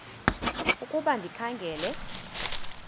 ukuba ndikha ngela